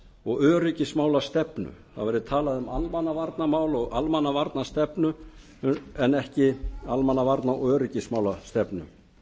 og öryggismálastefnu það verði talað um almannavarnamál og almannavarnastefnu en ekki almannavarna og öryggismálastefnu